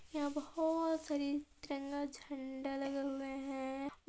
यहाँ बहोत सारे तिरंगा झंडे लगे हुए है औ --